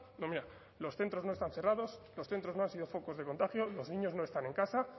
no mira los centros no están cerrados los centros no han sido focos de contagio los niños no están en casa